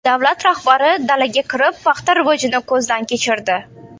Davlat rahbari dalaga kirib, paxta rivojini ko‘zdan kechirdi.